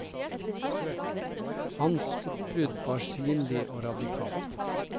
Hans oppbrudd var synlig og radikalt.